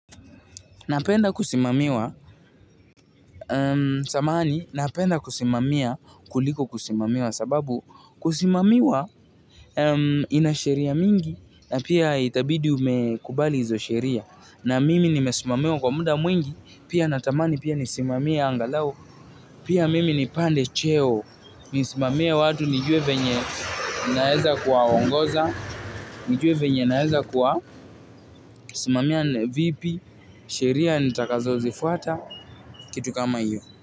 Napenda kusimamiwa, samahani napenda kusimamia kuliko kusimamiwa sababu kusimamiwa ina sheria mingi na pia itabidi umekubali hizo sheria. Na mimi nimesimamiwa kwa muda mwingi, pia natamani pia nisimamie angalau, pia mimi nipande cheo, nisimamie watu nijue venye naeza kuwaongoza, nijue venye naeza kuwasimamia vipi sheria nitakazozifuata.